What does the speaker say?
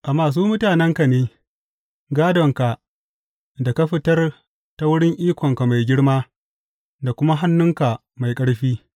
Amma su mutanenka ne, gādonka da ka fitar ta wurin ikonka mai girma, da kuma hannunka mai ƙarfi.